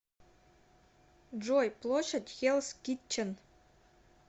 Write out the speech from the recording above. джой площадь хеллс китчен